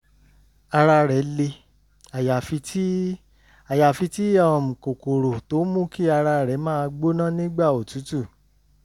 ara rẹ̀ le àyàfi tí àyàfi tí um kòkòrò tó ń mú kí ara rẹ̀ máa gbóná nígbà òtútù